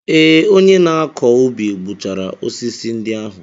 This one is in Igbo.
Ee, onye na-akọ ubi gbuchara osisi ndị ahụ.